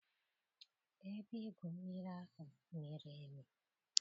Ebe igwu mmiri ahụ miri emi.